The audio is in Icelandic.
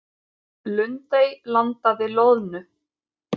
Lundey landaði loðnu